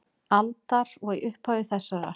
aldar og í upphafi þessarar.